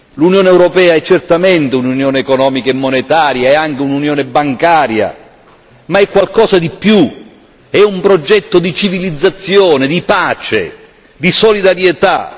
L'Unione europea è certamente un'unione economica e monetaria e anche un'unione bancaria, ma è qualcosa di più, è un progetto di civilizzazione, di pace, di solidarietà.